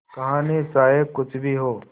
कहानी चाहे कुछ भी हो